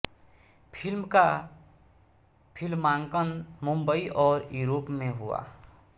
film का फ़िल्मांकन मुम्बई और यूरोप में हुआ